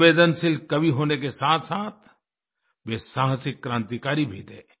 संवेदनशील कवि होने के साथसाथ वे साहसिक क्रांतिकारी भी थे